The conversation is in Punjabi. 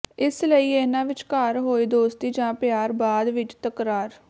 ਇਸ ਲਈ ਇਹਨਾਂ ਵਿਚਕਾਰ ਹੋਈ ਦੋਸਤੀ ਜਾ ਪਿਆਰ ਬਾਅਦ ਵਿੱਚ ਤਕਰਾਰ